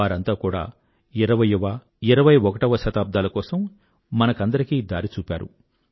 వారంతా కూడా ఇరవైయ్యవ ఇరవై ఒకటవ శతాబ్దాల కోసం మనందరికీ దారి చూపారు